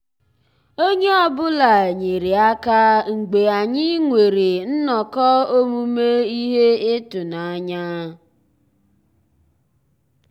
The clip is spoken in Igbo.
ónyé ọ́ bụ́là nyéré àká mgbeé ànyị́ nwèrè nnọ́kọ́ òmùmé íhé ị́tụ́nányá.